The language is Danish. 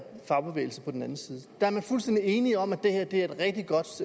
og fagbevægelsen på den anden side der er man fuldstændig enige om at det her